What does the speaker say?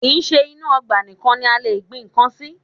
Kì í ṣe inú ọgbà nìkan ni a lè gbin ìgbá sí